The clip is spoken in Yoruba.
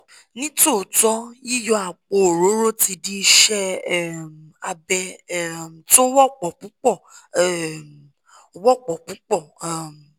ní tòótọ́ yíyọ àpò orórò ti di ìṣe um abẹ um tó wọ́pọ̀ púpọ̀ um wọ́pọ̀ púpọ̀ um